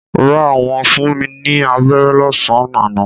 Rár, wọn fún mi ní aberé lọ́sán-an àná.